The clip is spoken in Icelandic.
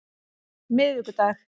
miðvikudag